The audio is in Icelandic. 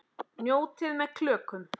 Njótið með klökum.